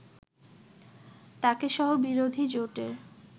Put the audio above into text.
তাকেসহ বিরোধী জোটের